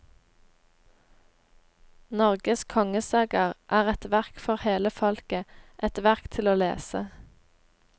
Norges kongesagaer er et verk for hele folket, et verk til å lese.